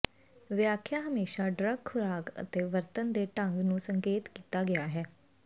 ਵਿਆਖਿਆ ਹਮੇਸ਼ਾ ਡਰੱਗ ਖ਼ੁਰਾਕ ਅਤੇ ਵਰਤਣ ਦੇ ਢੰਗ ਨੂੰ ਸੰਕੇਤ ਕੀਤਾ ਗਿਆ ਹੈ